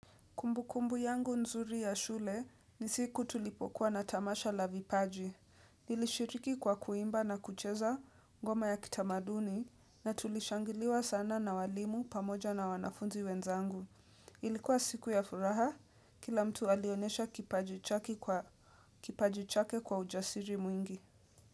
Kumbukumbu yangu nzuri ya shule ni siku tulipokuwa na tamasha la vipaji. Nilishiriki kwa kuimba na kucheza ngoma ya kitamaduni na tulishangiliwa sana na walimu pamoja na wanafunzi wenzangu. Ilikuwa siku ya furaha kila mtu alionyesha kipaji chake kwa ujasiri mwingi.